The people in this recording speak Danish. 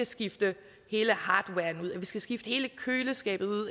skifte hele hardwaren ud at vi skal skifte hele køleskabet